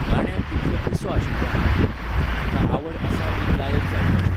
गाण्याक इतलो पिसो आशिल्लों हांव. म्हाका आवड आसा एक गायक जावपाची.